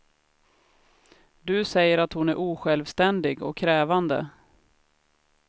Du säger att hon är osjälvständig och krävande.